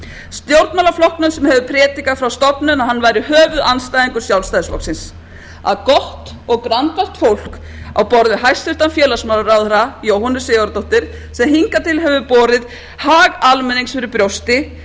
stjórnmálaflokknum sem hefur predikað frá stofnun að hann væri höfuðandstæðingur sjálfstæðisflokksins að gott og grandvart fólk á borð við hæstvirtan félagsmálaráðherra jóhönnu sigurðardóttur sem hingað til hefur borið hag almennings fyrir brjósti